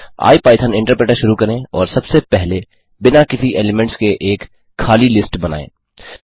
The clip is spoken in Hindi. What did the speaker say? आई पाइथन इन्टरप्रेटर शुरू करें और सबसे पहले बिना किसी एलीमेंट्स के एक खाली लिस्ट बनाएँ